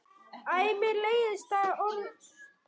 Æ mér leiðist það orð um sjálfa mig.